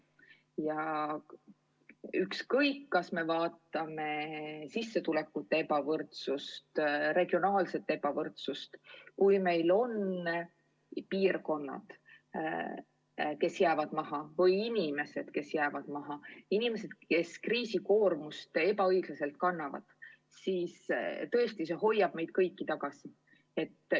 Ükskõik, kas me vaatame sissetulekute ebavõrdsust või regionaalset ebavõrdsust – kui meil on piirkonnad, kes jäävad maha, või inimesed, kes jäävad maha, inimesed, kes kriisi koormust ebaõiglaselt kannavad, siis tõesti, see hoiab meid kõiki tagasi.